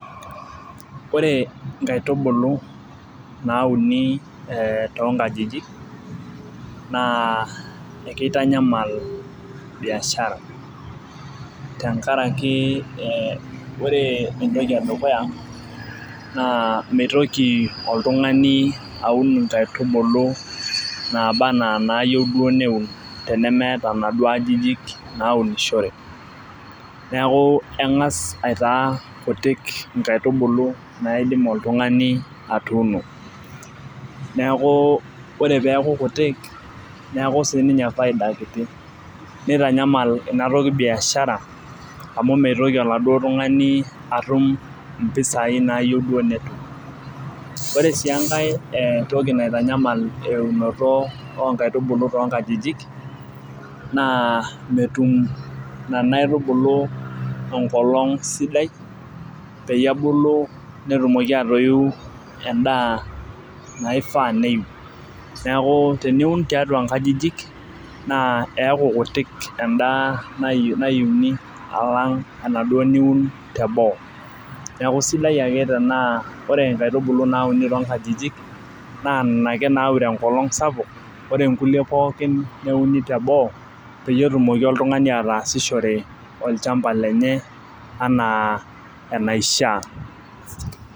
Ore inkaitubulu nauni, ee too nkajijik naa ekeitanyamal biashara, tenkaraki ore entoki edukuya naa meitoki oltungani aun inkaitubulu naaba anaa inaayiru duo neuni tenemeeta inaduoo ajijik naaunishoreki. neeku engas aitaas kuik inkaitubulu naidim oltungani atuuno neeku ore peeku kutik ,neeku sii ninye faida kitu. nitanyamal Ina toki biashara amu mitoki oladuoo tungani atum mpisai naayieu duoo netum. ore sii enkae ee toki nitanyamal eunoto oo nkaitubulu too nkajijik na metum Nena aitubulu enkolong' sidai, peyie ebulu netumoki aatoiu edaa naifaa neiu. neeku teniun tiatua nkajijik naa neeku kutik edaa nayiuni alang' enaduoo niun teboo. nedku sidai ake tenaa ore nkaitubulu nauni too nkajijik. naaa Nena ake naaure enkolong' sapuk. ore nkulie pookin neuni teboo peyie etumoki oltungani ataasishore olchampa lenye anaa enaishaa.